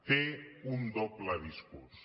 té un doble discurs